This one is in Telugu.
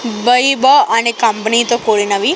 బైభ అనే కంపెనీతో కూడినవి--